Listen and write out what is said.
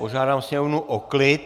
Požádám sněmovnu o klid.